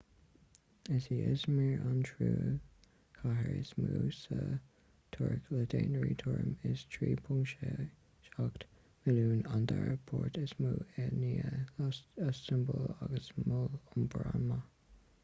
is í i̇zmir an tríú cathair is mó sa tuirc le daonra tuairim is 3.7 milliúin an dara port is mó i ndiaidh iostanbúl agus mol iompair an-mhaith